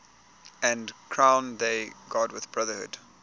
and crown thy good with brotherhood